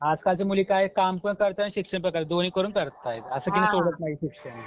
आजकालच्या मुली काय कामपण करतात अन शिक्षणपण करतात, दोन्ही करून करतायत. असं की नाही सोडत नाहीत शिक्षण